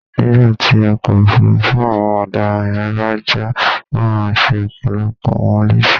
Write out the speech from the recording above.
nígbà tí ọkọ̀ ọ̀fuurú àwọn ọ̀daràn yẹn bá já, ó máa ṣe ọ̀pọ̀lọpọ̀ wọn léṣe